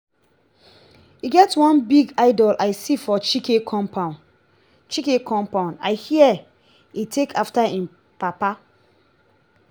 e get one big idol i see for chike compound chike compound i hear he take after im papa